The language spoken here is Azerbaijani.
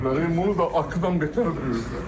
Bunu da ağlından betər ediblər.